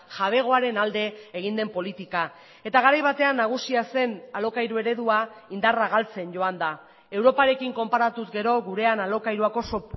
jabegoaren alde egin den politika eta garai batean nagusia zen alokairu eredua indarra galtzen joan da europarekin konparatuz gero gurean alokairuak oso